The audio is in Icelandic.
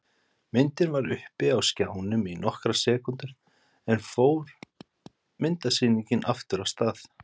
Myndin var uppi á skjánum í nokkrar sekúndur en síðan fór myndasýningin aftur af stað.